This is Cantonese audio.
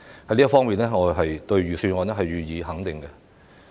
在這方面，我會對預算案予以肯定。